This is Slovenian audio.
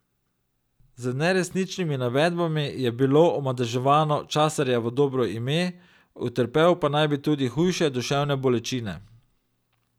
Z neresničnimi navedbami je bilo omadeževano Časarjevo dobro ime, utrpel pa naj bi tudi hujše duševne bolečine.